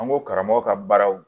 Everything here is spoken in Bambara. An ko karamɔgɔ ka baaraw